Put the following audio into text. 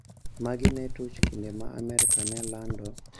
Magi ne tuch kinde ma Amerka ne lando